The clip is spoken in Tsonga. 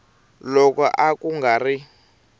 loko a ku nga ri